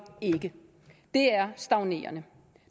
ikke det er stagnerende